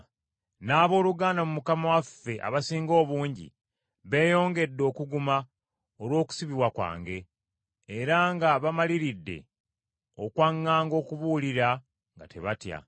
N’abooluganda mu Mukama waffe abasinga obungi beeyongedde okuguma olw’okusibibwa kwange, era nga bamaliridde okwaŋŋanga okubuulira nga tebatya.